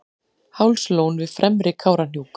hálslón við fremri kárahnjúk